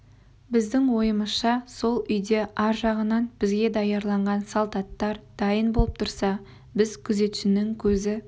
біздің ойымызша сол үйде ар жағынан бізге даярланған салт аттар дайын болып тұрса біз күзетшінің көзі